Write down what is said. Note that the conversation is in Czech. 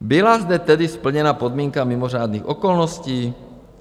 Byla zde tedy splněna podmínka mimořádných okolností?